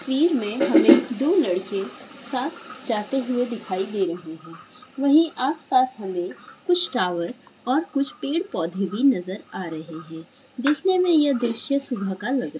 तस्वीर मे हमे दो लड़के साथ जाते हुए दिखाई दे रहे है वही आस-पास हमे कुछ टावर और कुछ पेड़-पौधे भी नज़र आ रहे है देखने में ये दृशय सुबह का लग रा--